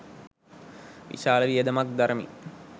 විශාල වියදමක් දරමින්